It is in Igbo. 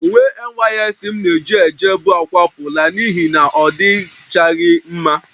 Uwe ojii NYSC m na-ejebu akwapụla n'ihi na ọ dịchaghị mma